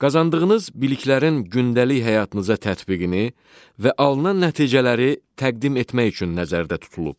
Qazandığınız biliklərin gündəlik həyatınıza tətbiqini və alınan nəticələri təqdim etmək üçün nəzərdə tutulub.